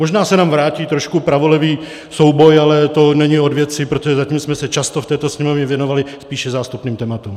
Možná se nám vrátí trošku pravolevý souboj, ale to není od věci, protože zatím jsme se často v této Sněmovně věnovali spíše zástupným tématům.